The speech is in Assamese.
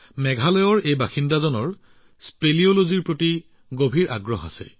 মেঘালয়ৰ বাসিন্দা তেওঁৰ স্পেলিঅলজিৰ প্ৰতি যথেষ্ট আগ্ৰহ আছে